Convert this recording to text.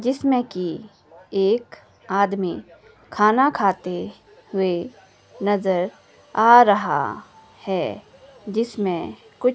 जिसमें की एक आदमी खाना खाते हुए नजर आ रहा है जिसमें कुछ--